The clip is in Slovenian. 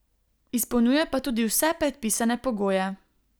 Izpolnjuje pa tudi vse predpisane pogoje.